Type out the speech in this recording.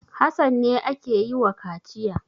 Hassan ne ake yi wa kaciya.